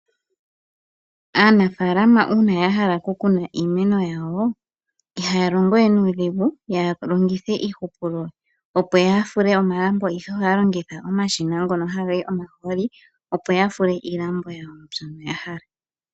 Aanafaalama uuna yahala okukuna iimeno yawo ihaya longo we nuudhigu yalongithe iihupulo opo yafule omalambo ihe ohaya longitha omashina ngono hagayi omahooli opo yafule iilambo yawo mbyono yahala.